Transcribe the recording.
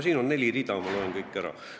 Siin on neli rida, ma loen need kõik ette.